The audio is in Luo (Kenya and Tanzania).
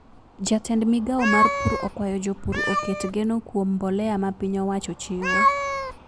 Jatend migao mar pur okwayo jopur oket geno kuom mbolea ma piny owacho chiwo